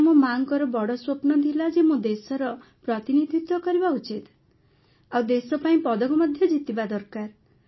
ତେଣୁ ମୋ ମାଆଙ୍କର ବଡ଼ ସ୍ୱପ୍ନ ଥିଲା ଯେ ମୁଁ ଦେଶର ପ୍ରତିନିଧିତ୍ୱ କରିବା ଉଚିତ ଆଉ ଦେଶ ପାଇଁ ପଦକ ମଧ୍ୟ ଜିତିବା ଦରକାର